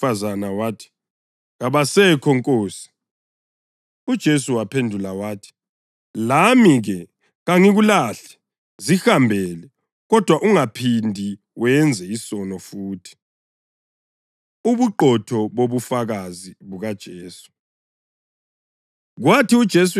Owesifazane wathi, “Kabasekho, nkosi.” UJesu waphendula wathi, “Lami-ke, kangikulahli, zihambele, kodwa ungaphindi wenze isono futhi.”] Ubuqotho Bobufakazi BukaJesu